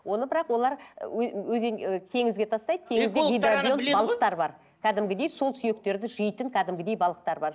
оны бірақ олар ы теңізге тастайды балықтар бар кәдімгідей сол сүйектерді жейтін кәдімгідей балықтар бар